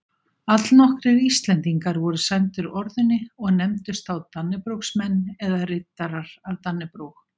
Allnokkrir Íslendingar voru sæmdir orðunni og nefndust þá dannebrogsmenn eða riddarar af dannebrog.